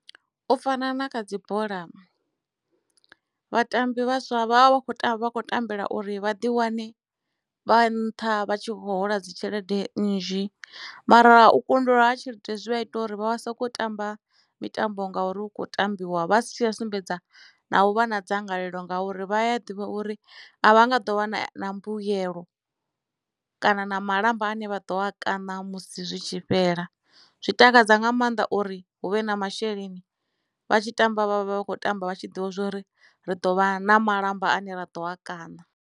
U fana na kha dzi bola vhatambi vhaswa vha vha vha vha kho tamba vha kho tambela uri vhaḓi wane vha nṱha vha tshi vho hola dzi tshelede nnzhi mara u kundelwa ha tshelede zwia ita uri vha vha soko tamba mitambo ngori hukho tambiwa vha si tsha sumbedza na u vha na dzangalelo ngauri vha a ḓivha uri a vha nga ḓo wana mbuyelo kana na malamba ane vha ḓo a kaṋa musi zwi tshi fhela zwi takadza nga maanḓa uri hu vhe na masheleni vha tshi tamba vha vha vha vha kho tamba vha tshi ḓivha zwori ri ḓo vha na malamba ane ra ḓo a kaṋa.